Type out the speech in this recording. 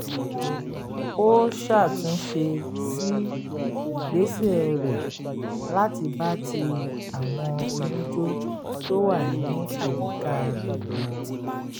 ó ṣàtúnṣe si ìgbésẹ̀ rẹ̀ láti bá ti àwọn onijó tó wà ní àyíká rẹ̀ mú